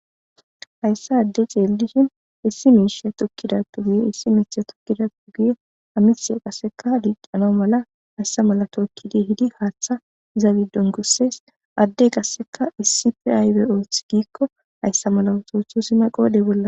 hayssa adde ceellishin issi miisha tukkidatu giyo issi miicha tukkidatu giyo amihiya qasseka diixano mala hayssa mala tookkidi hidi haaththa zabidon kusses addey qasseka issife aaybe ooth giikko hayssa mala osoothusina qoodey bolla